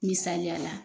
Misaliya la